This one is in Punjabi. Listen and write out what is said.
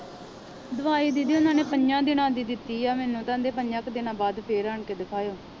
ਦਵਾਈ ਦੀਦੀ ਉਹਨਾਂ ਨੇ ਪੰਜਾਂ ਦਿਨਾਂ ਦੀ ਦਿੱਤੀ ਹੈ ਮੈਨੂੰ ਕਹਿੰਦੇ ਪੰਜਾਂ ਕੁ ਦਿਨਾਂ ਬਾਅਦ ਫਿਰ ਆਣ ਕੇ ਦਿਖਾਇਓ